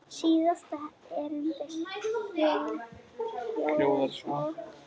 Síðasta erindið hljóðar svo